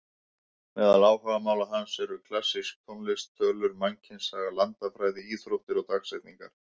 Meðal áhugamála hans eru klassísk tónlist, tölur, mannkynssaga, landafræði, íþróttir og dagsetningar.